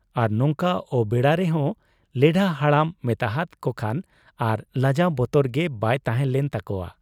ᱟᱨ ᱱᱚᱝᱠᱟ ᱚᱵᱮᱲᱟᱨᱮ ᱦᱚᱸ ᱞᱮᱰᱷᱟ ᱦᱟᱲᱟᱢ ᱢᱮᱛᱟᱦᱟᱫ ᱠᱚᱠᱷᱟᱱ ᱟᱨ ᱞᱟᱡᱟᱣ ᱵᱚᱛᱚᱨ ᱜᱮ ᱵᱟᱭ ᱛᱟᱦᱮᱸ ᱞᱮᱱ ᱛᱟᱠᱚᱣᱟ ᱾